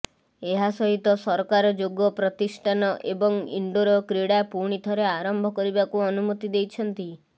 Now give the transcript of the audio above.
ଏହା ସହିତ ସରକାର ଯୋଗ ପ୍ରତିଷ୍ଠାନ ଏବଂ ଇଣ୍ଡୋର କ୍ରୀଡା ପୁଣି ଥରେ ଆରମ୍ଭ କରିବାକୁ ଅନୁମତି ଦେଇଛନ୍ତି